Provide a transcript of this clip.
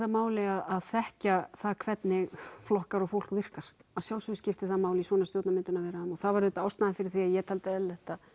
máli að þekkja það hvernig flokkar og fólk virkar að sjálfsögðu skiptir það máli í svona stjórnarmyndunarviðræðum og það var ástæðan fyrir því að ég taldi eðlilegt að